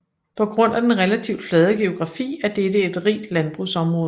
På grund af den relativt flade geografi er dette et rigt landbrugsområde